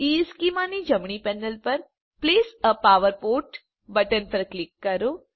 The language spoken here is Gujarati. ઇશ્ચેમાં ની જમણી પેનલ પર place a power port button પર ક્લિક કરો